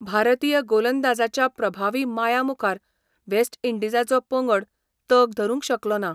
भारतीय गोलंदाजाच्या प्रभावी माया मुखार वेस्ट इंडीजाचो पंगड तग धरूंक शकलो ना.